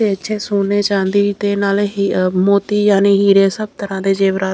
ਇੱਥੇ ਸੋਨੇ ਚਾਂਦੀ ਤੇ ਨਾਲੇ ਮੋਤੀ ਯਾਨੀ ਹੀਰੇ ਸਭ ਤਰ੍ਹਾਂ ਦੇ ਜੇਵਰਾਤ --